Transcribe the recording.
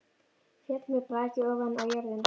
Féll með braki ofan á jörðina.